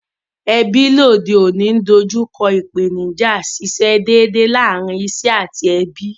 Ebí lóde ọ̀ní n dojúko ìpènijà síse dédè lárin isé àti ebí